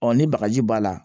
ni bagaji b'a la